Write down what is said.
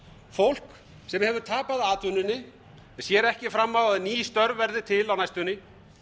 fólk sem hefur tapað atvinnunni sér ekki fram á að ný störf verði til á næstunni